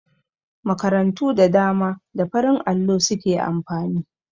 Makarantu da dama da farin allo su ke amfani.